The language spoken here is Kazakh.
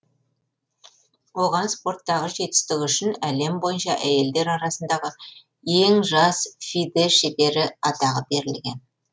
оған спорттағы жетістігі үшін әлем бойынша әйелдер арасындағы ең жас фиде шебері атағы берілген